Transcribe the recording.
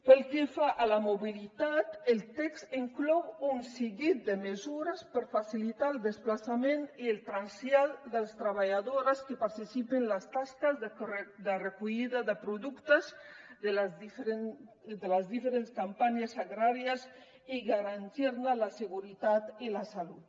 pel que fa a la mobilitat el text inclou un seguit de mesures per facilitar el desplaçament i el trasllat de les treballadores que participen en les tasques de recollida de productes de les diferents campanyes agràries i garantir ne la seguretat i la salut